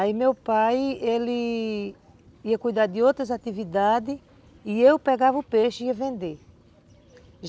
Aí meu pai, ele ia cuidar de outras atividades e eu pegava o peixe e ia vender.